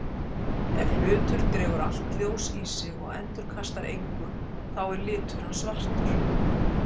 Ef hlutur dregur allt ljós í sig og endurkastar engu þá er litur hans svartur.